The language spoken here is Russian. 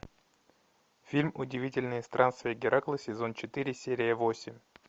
фильм удивительные странствия геракла сезон четыре серия восемь